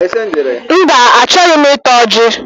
Mba, achọghị m ịta ọji